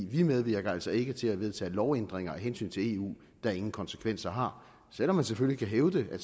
vi medvirker altså ikke til at vedtage lovændringer af hensyn til eu der ingen konsekvenser har selv om man selvfølgelig kan hævde at